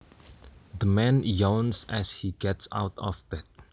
The man yawns as he gets out of bed